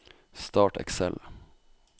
Start Excel